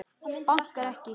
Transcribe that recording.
Bankar ekki.